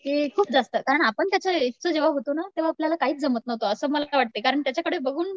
की खूप जास्त कारण आपण त्याच्या एजचे जेंव्हा होतो ना तेंव्हा आपल्याला काहीच जमत नव्हतं असं मला वाटतंय कारण त्याच्याकडे बघून